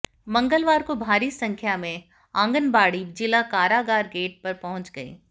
मंगलवार को भारी संख्या में आंगनबाड़ी जिला कारागार गेट पर पहुंच गई